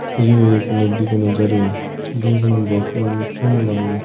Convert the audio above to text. यह एक नदी को नजारो है देखने में बहुत सुनो लाग रहियो है।